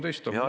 6.13 on ...